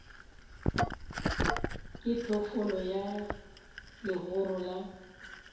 ke phoofolo ya legoro la